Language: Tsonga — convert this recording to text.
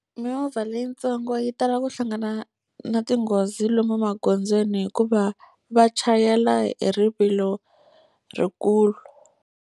Mimovha leyitsongo yi tala ku hlangana na tinghozi lomu magondzweni hikuva va chayela hi rivilo ri kulu.